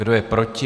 Kdo je proti?